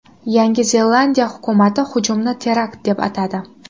Yangi Zelandiya hukumati hujumni terakt deb atadi.